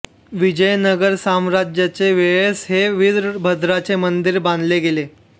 विजयनगर साम्राज्याचे वेळेस हे विरभद्राचे मंदिर बांधल्या गेले